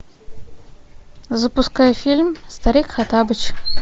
запускай фильм старик хоттабыч